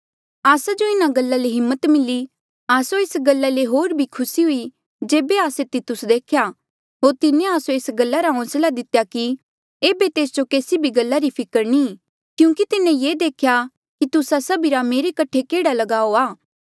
आस्सा जो इन्हा गल्ला ले हिम्मत मिली आस्सो एस गल्ला ले होर भी खुसी हुई जेबे आस्से तितुस देखेया होर तिन्हें आस्सो एस गल्ला रा होंसला दितेया कि ऐबे तेस जो केसी भी गल्ला री फिकर नी क्यूंकि तिन्हें ये देखेया कि तुस्सा सभीरा मेरे कठे केडा लगाऊ आ